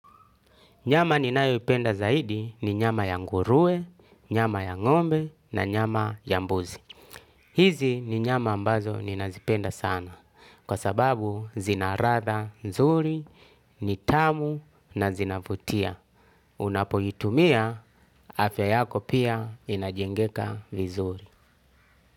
Nyama ninayo ipenda zaidi ni nyama ya nguruwe nyama ya ngombe na nyama ya mbuzi. Hizi ni nyama ambazo ninazipenda sana kwa sababu zina ladha nzuri ni tamu na zina vutia. Unapoitumia afya yako pia inajengeka vizuri.